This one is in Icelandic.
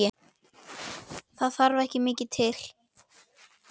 Það þarf ekki mikið til?